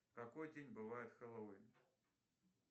в какой день бывает хэллоуин